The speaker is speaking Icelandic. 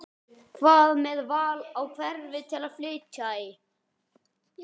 Hvað með val á hverfi til að flytja í?